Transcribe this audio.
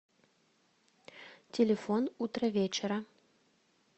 телефон утровечера